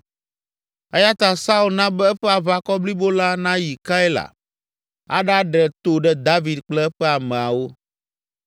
Eya ta Saul na be eƒe aʋakɔ blibo la nayi Keila aɖaɖe to ɖe David kple eƒe ameawo.